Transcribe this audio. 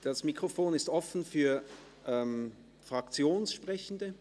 Das Mikrofon ist offen für Fraktionssprechende.